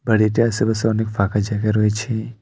বাড়িটা আশেপাশে অনেক ফাঁকা জায়গা রয়েছে।